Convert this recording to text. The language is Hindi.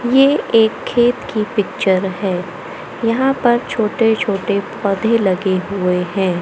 ये एक खेत की पिक्चर है यहां पर छोटे छोटे पौधे लगे हुए हैं।